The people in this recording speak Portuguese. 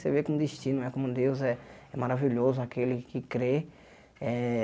Você vê como o destino, como Deus é é maravilhoso, aquele que crê eh.